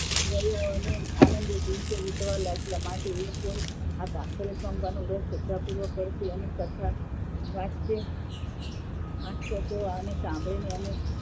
અને આનંદ દિવસો વીતવા લાગ્યા અને માટે જે કોઈ આ નું વ્રત શ્રદ્ધા પૂર્વક કરશે એની કથા વાંચશે અથવા સાંભળીને અને